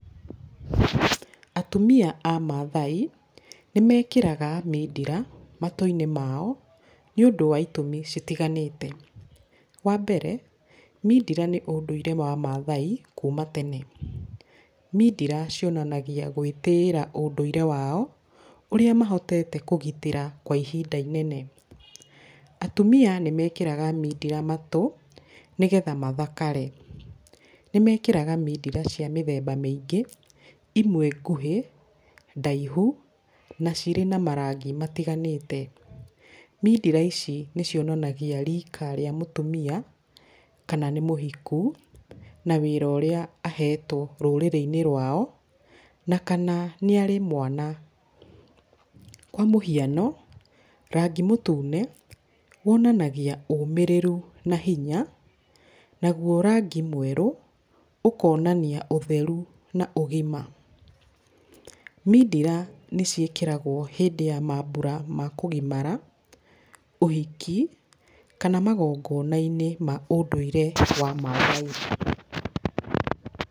Atumia Amaathai nĩmekĩraga mindira matũinĩ mao nĩũndũ wa itũmi citiganĩte, wambere mindira nĩ ũndũire wa Maathai kuuma tene, mindira cionanagia gwĩtĩĩra ũndũire wao ũrĩa mahotete kũgitĩra kwa ihinda inene, atumia nĩmekĩraga mindira matũ nĩgetha mathakare, nĩmekĩraga mindira cia mĩthemba mĩingĩ imwe ngũhĩ, ndaihu na cirĩ na marangi matiganĩtĩ, mindira ici nĩcionanagia rika rĩa mũtumia kana nĩmũhiku na wĩra ũrĩa ahetwo rũrĩrĩinĩ rwao na kana nĩ arĩ mwana, kwa mũhiano rangi mũtune wonanagia ũmĩrĩru na hinya nauwo rangi mwerũ ũkonania ũtheru na ũgima, mindira nĩciĩkĩragwo hĩndĩ ya maambura ma kũgimara, ũhiki kana magongonainĩ maũndũire wa Maathai.